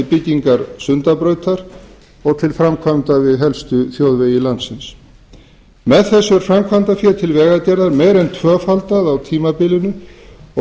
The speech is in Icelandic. til byggingar sundabrautar og til framkvæmda við helstu þjóðvegi með þessu er framkvæmdafé til vegagerðar meira en tvöfaldað á tímabilinu og